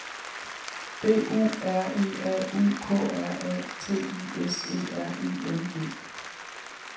B U R E A U K R A T I S E R I N G